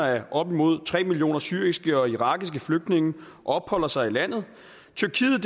at op imod tre millioner syriske og irakiske flygtninge opholder sig i landet tyrkiet